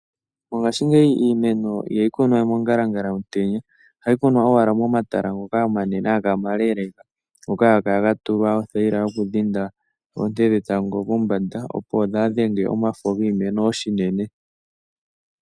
Mongashingeyi iimeno ohayi kunwa mongalangala yomutenya ohayi kunwà owala momatala ngoka omaleleka. Ohaga kala ga tulwa othayila yokudhenga oonte dhetango kombanda, opo dhaadhenge omafo giimeno shinene.